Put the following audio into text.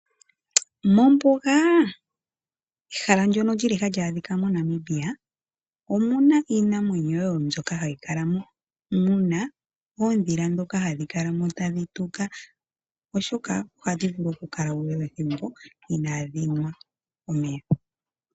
Mombuga ehala ndyono lyili hali adhika moNamibia omuna iinamwenyo mbyoka hayi kala mo muna oondhila ndhoka hadhi kala mo tadhi tuka oshoka ohadhi vulu oku kala uule wethimbo inadhi nwa omeya.